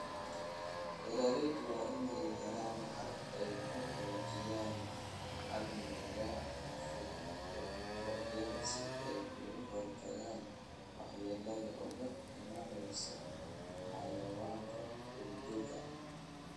Beeraleydu waa in ay helaan habab ay ku xoojiyaan amniga furuurucyada si ay uga hortagaan waxyeelada uga imanaysa xayawaanka duurjoogta ah.